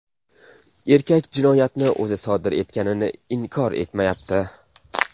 Erkak jinoyatni o‘zi sodir etganini inkor etmayapti.